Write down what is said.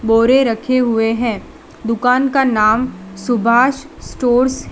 बोरे रखे हुए हैं दुकान का नाम सुभाष स्टोर्स है।